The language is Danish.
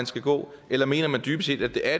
skal gå eller mener han dybest set at det er